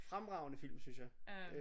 Fremragende film synes jeg